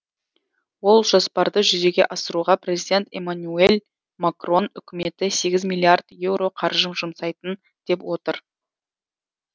ол жоспарды жүзеге асыруға президент эммануюэль макрон үкіметі сегіз миллиард еуро қаржы жұмсайын деп отыр